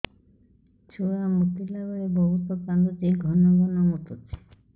ଛୁଆ ମୁତିଲା ବେଳେ ବହୁତ କାନ୍ଦୁଛି ଘନ ଘନ ମୁତୁଛି